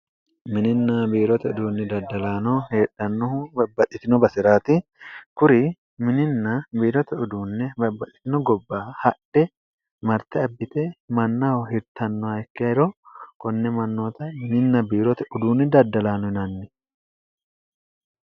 mininna biirote uduunni daddalaano heedhannohu babbaxxitino basi'raati kuri mininna biirote uduunne babbaxxitino gobba hadhe marte abbite mannaho hirtannoha ikkeero konne mannoota mininna biirote uduunni daddalaano inanni